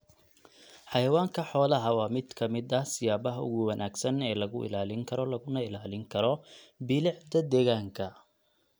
Xayawaanka xoolaha waa mid ka mid ah siyaabaha ugu wanaagsan ee lagu ilaalin karo laguna ilaalin karo bilicda deegaanka.